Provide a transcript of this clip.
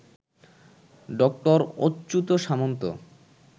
ডঃ Achyuta সামন্ত